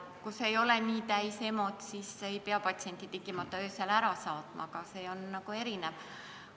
Kui EMO ei ole nii täis, siis ei pea patsienti tingimata öösel ära saatma, aga olukorrad on erinevad.